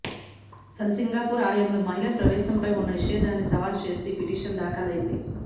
శనిసింగాపూర్ ఆలయంలోకి మహిళలు ప్రవేశంపై ఉన్న నిషేధాన్ని సవాలుచేస్తూ ఈ పిటిషన్ దాఖలైంది